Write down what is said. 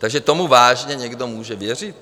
Takže tomu vážně někdo může věřit?